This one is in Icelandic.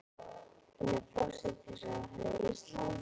Hún er forsætisráðherra Íslands.